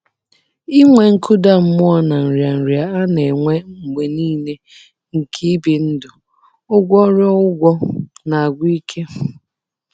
Inwe nkụda mmụọ na nrịanrịa a na-enwe mgbe nile nke ibi ndụ ụgwọruo ụgwọ na-agwụ ike.